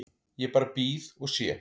Ég bara bíð og sé.